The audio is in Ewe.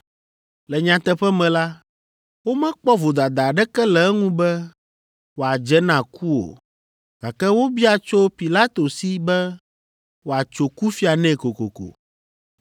Le nyateƒe me la, womekpɔ vodada aɖeke le eŋu be wòadze na ku o, gake wobia tso Pilato si be wòatso kufia nɛ kokoko.